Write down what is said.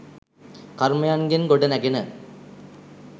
කර්මයන්ගෙන් ගොඩ නැඟෙන